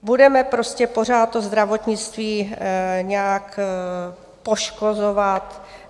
Budeme prostě pořád to zdravotnictví nějak poškozovat.